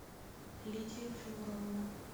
лидия флюровна